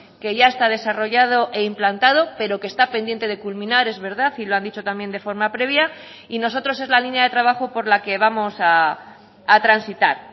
que ya está desarrollado e implantado pero que está pendiente de culminar es verdad y lo han dicho también de forma previa y nosotros es la línea de trabajo por la que vamos a transitar